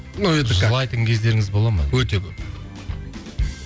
ну это как жылайтын кездеріңіз бола ма өте көп